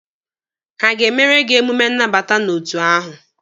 Ha aga-emere gị emume nnabata n'otu ahụ?